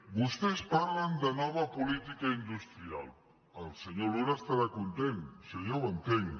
vostès parlen de nova política industrial el senyor luna deu estar content això ja ho entenc